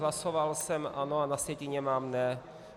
Hlasoval jsem ano, a na sjetině mám ne.